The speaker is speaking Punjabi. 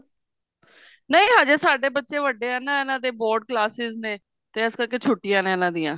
ਨਹੀਂ ਹਜੇ ਸਾਡੇ ਬੱਚੇ ਵੱਡੇ ਹੈ ਨਾ ਇਹਨਾ ਦੇ board classes ਨੇ ਤੇ ਇਸ ਕਰਕੇ ਛੁੱਟਿਆ ਨੇ ਇਹਨਾ ਦੀਆ